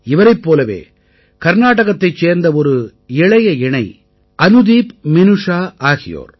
இவரைப் போலவே கர்நாடகத்தைச் சேர்ந்த ஒரு இளைய இணை அனுதீப் மினூஷா ஆகியோர்